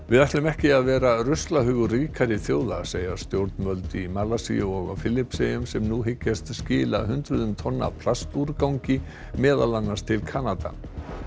við ætlum ekki að vera ruslahaugar ríkari þjóða segja stjórnvöld í Malasíu og á Filippseyjum sem nú hyggjast skila hundruðum tonna af plastúrgangi meðal annars til Kanada